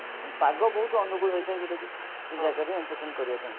ପାଗ ବହୁତ ଅନୂକୁଳ ହେଇଥାଏ ଯଉଟାକି entertain କରିବା ପାଇଁ